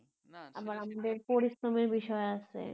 আবার আমাদের পরিশ্রমের বিষয় আছে হম হম হম সেইটা ঠিক এই আরকি